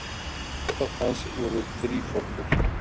kennitákn hans voru þríforkur